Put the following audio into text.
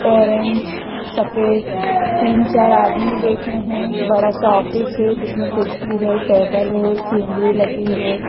Orange सफेद तीन चार आदमी बैठे हैं बड़ा सा ऑफिस है जिसमें कुर्सी है टेबल है सीनरी लगी है।